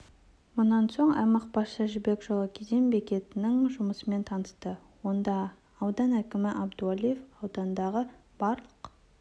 мұнан соң аймақ басшысы жібек жолы кеден бекетінің жұмысымен танысты онда аудан әкімі әбдуәлиев аудандағы барлық